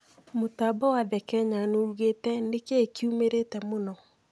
mũtambo wa The Kenyan ugiite:Nĩkĩĩ kiumĩrĩte mũno